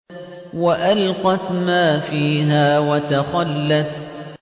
وَأَلْقَتْ مَا فِيهَا وَتَخَلَّتْ